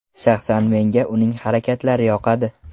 Shaxsan menga uning harakatlari yoqadi.